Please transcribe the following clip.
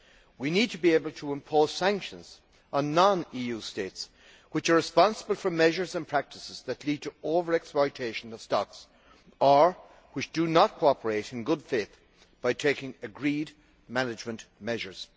We need to be able to impose sanctions on non EU states which are responsible for measures and practices that lead to over exploitation of stocks or which do not cooperate in good faith by taking agreed management measures.